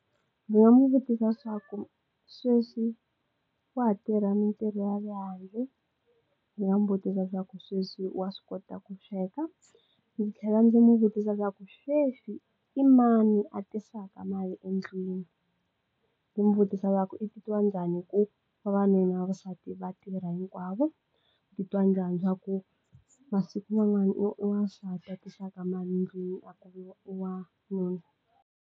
Ndzi nga n'wi vutisa swaku sweswi wa ha tirha mintirho ya le handle ndzi nga mu butisa swaku sweswi wa swi kota ku sweka ndzi tlhela ndzi mu vutisa swaku sweswi i mani a tisaka mali endlwini ku mu vutisa ku i titwa njhani ku vavanuna na vavasati va tirha hinkwavo i titwa njhani swaku masiku man'wani i wa i wansati tisaka mali ndlwini wanuna.